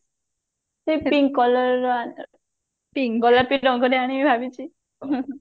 ସେଇ pink colour ର pink colour ରଙ୍ଗରେ ଆଣିବି ଭାବିଛି